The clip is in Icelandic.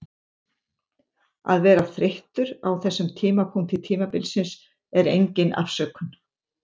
Að vera þreyttur á þessum tímapunkti tímabilsins er engin afsökun.